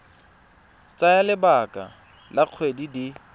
tsaya lebaka la dikgwedi di